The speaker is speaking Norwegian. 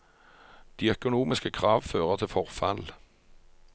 De økonomiske krav fører til forfall.